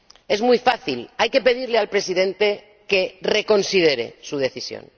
Es muy fácil hay que pedirle al Presidente que reconsidere su decisión.